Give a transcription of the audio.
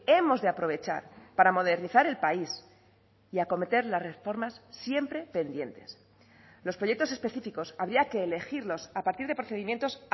hemos de aprovechar para modernizar el país y acometer las reformas siempre pendientes los proyectos específicos habría que elegirlos a partir de procedimientos